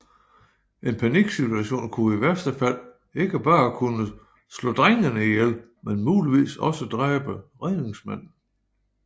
En paniksituation kunne i værste fald ikke bare kunne slå drengene ihjel men muligvis også dræbe redningsmanden